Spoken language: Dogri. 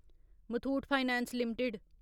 Muthoot finance limited